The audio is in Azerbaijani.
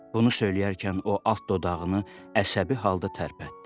Bunu söyləyərkən o altdoduğunu əsəbi halda tərpətdi.